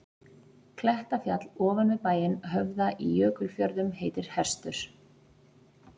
Klettafjall ofan við bæinn Höfða í Jökulfjörðum heitir Hestur.